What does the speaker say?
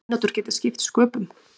Mínútur geti skipt sköpum.